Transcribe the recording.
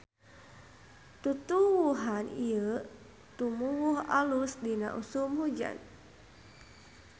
Tutuwuhan ieu tumuwuh alus dina usum hujan.